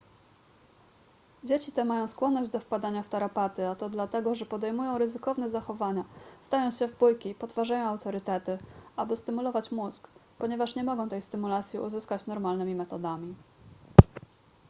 dzieci te mają skłonność do wpadania w tarapaty a to dlatego że podejmują ryzykowne zachowania wdają się w bójki i podważają autorytety aby stymulować mózg ponieważ nie mogą tej stymulacji uzyskać normalnymi metodami